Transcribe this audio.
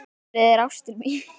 Silfrið er ástin mín.